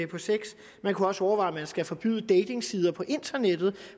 på sex man kunne også overveje om man skulle forbyde datingsider på internettet